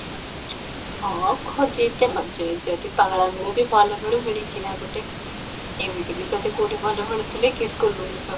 ହଁ ଖୋଜି ଦ ଯ ଯଦି ପାଗଳା ମିଳୁ ଭଲ ମିଳୁ ମିଳିଛି ନା ଗୋଟେ, ଏମିତି ବି ତତେ କୋଉଠି ଭଲ ମିଳୁଥିଲେ କି school ଭଳିଆ ଛୁଆ